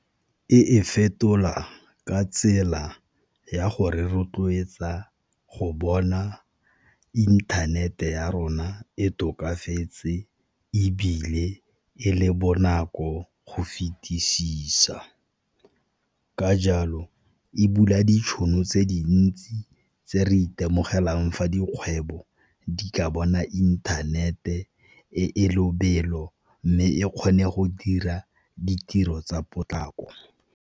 E e fetola ka tsela ya go re rotloetsa go bona inthanete ya rona e tokafetse, ebile e le bonako go fetisisa. Ka jalo e bula ditšhono tse dintsi tse re itemogelang fa dikgwebo di ka bona inthanete e e lobelo, mme e kgone go dira ditiro tsa potlako.